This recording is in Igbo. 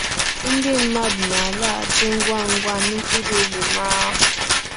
Ndị mmadụ na-alaghachi ngwa ngwa n'ụkpụrụ omume ha.